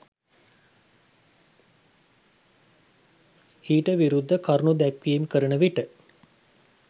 ඊට විරුද්ධ කරුණු දැක්වීම් කරන විට